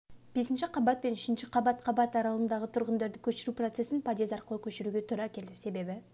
бесінші қабат пен үшінші қабат қабат аралығындағы тұрғындарды көшіру процесін подъезд арқылы көшіруге тура келеді себебі